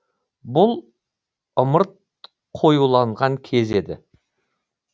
бұл ымырт қоюланған кез еді